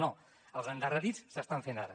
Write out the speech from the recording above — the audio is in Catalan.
no els endarrerits s’estan fent ara